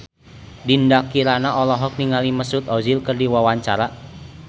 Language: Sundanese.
Dinda Kirana olohok ningali Mesut Ozil keur diwawancara